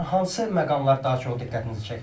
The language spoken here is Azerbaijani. Nəriman, hansı məqamlar daha çox diqqətinizi çəkdi?